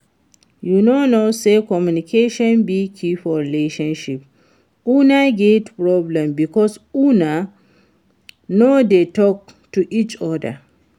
You no know say communication be key for relationship? Una get problem because una no dey talk to each other